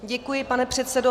Děkuji, pane předsedo.